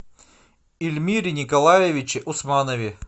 ильмире николаевиче усманове